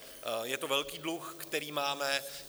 Je to velký dluh, který máme.